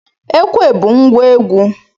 Ekwe bụ ngwa egwu